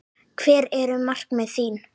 Hver eru markmið þín?